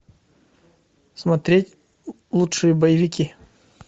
смотреть лучшие боевики